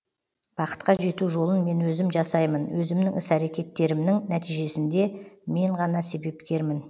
бақытқа жету жолын мен өзім жасаймын өзімнің іс әрекеттерімнің нәтижесіне де мен ғана себепкермін